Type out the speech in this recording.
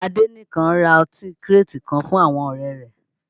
Adenekan ra ọtí kírètì kan fún àwọn ọ̀rẹ́ rẹ̀